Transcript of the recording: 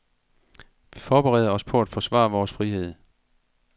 Vi forbereder os på at forsvare vores frihed.